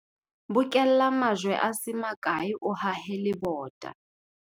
Bokella majwe a se makae o hahe lebota.